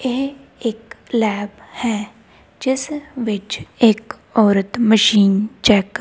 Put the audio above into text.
ਇਹ ਇੱਕ ਲੈਬ ਹੈ ਜਿਸ ਵਿੱਚ ਇੱਕ ਔਰਤ ਮਸ਼ੀਨ ਚੈੱਕ --